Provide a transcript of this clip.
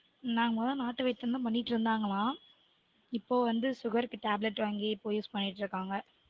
நாங்க மொத நாட்டு வைத்தியம்தா பண்ணிட்டிருந்தாங்கலாம் இப்போ வந்து sugar -க்கு tablet வாங்கி இப்போ use பண்ணிட்டு இருக்காங்க